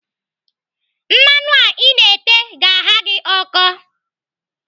Mmanụ a Ị na-ete ga-agha gị ọkọ.